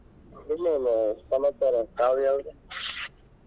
ಇನ್ ಏನ್ ಸಮಾಚಾರ ಕಾವ್ಯಾ ಅವ್ರೆ?.